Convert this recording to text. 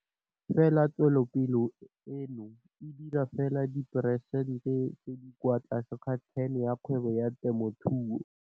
Fela tswelopele eno e dira fela diperesente tse di kwa tlase ga 10 ya kgwebo ya temothuo.